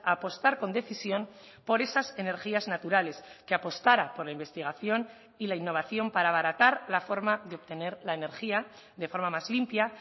a apostar con decisión por esas energías naturales que apostara por la investigación y la innovación para abaratar la forma de obtener la energía de forma más limpia